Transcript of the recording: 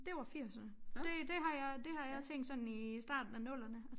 Det var firserne det det har jeg det har jeg tænkt sådan i starten af nullerne